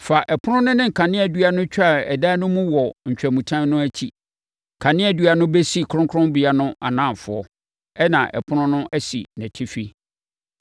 Fa ɛpono no ne kaneadua no tware dan no mu wɔ ntwamutam no akyi. Kaneadua no bɛsi kronkronbea no anafoɔ, ɛnna ɛpono no asi nʼatifi.